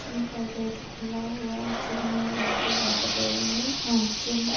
gym का gate खुला हुआ है जिम मे लाईटे लग रही है जिम --